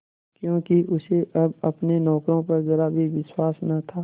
क्योंकि उसे अब अपने नौकरों पर जरा भी विश्वास न था